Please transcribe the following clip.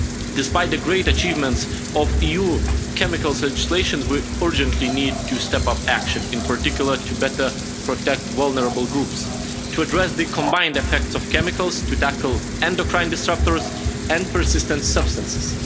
Despite the great achievements of EU chemicals legislation, we urgently need to step up action, in particular to better protect vulnerable groups, to address the combined effects of chemicals, to tackle endocrine disrupters and persistent substances.